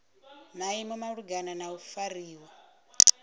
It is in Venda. maimo malugana na u fariwa